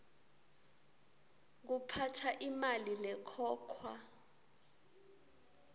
kuphatsa imali lekhokhwa